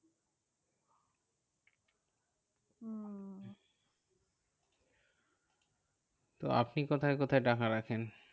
তো আপনি কোথায় কোথায় টাকা রাখেন?